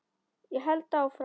Ég held áfram.